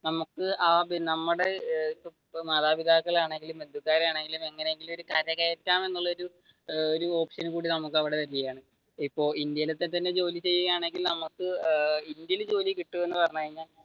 നമുക്ക് ആ നമ്മുടെ മാതാപിതാക്കളെയാണെങ്കിലും ബന്ധുക്കാരെയാണെങ്കിലും എങ്ങനെയെങ്കിലും കര കയറ്റാം എന്നുളള ഒരു ഒരു ഓപ്ഷൻ കൂടി നമുക്ക് അവിടെ വരുകയാണ് ഇപ്പൊ ഇന്ത്യയിലത്തെ തന്നെ ജോലി ചെയ്യുകയാണെകിൽ നമുക്ക് ഇന്ത്യയിൽ ജോലി കിട്ടുമെന്ന് പറഞ്ഞുകഴിഞ്ഞാൽ